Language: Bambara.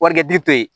Warikɛ di to yen